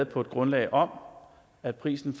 på et grundlag om at prisen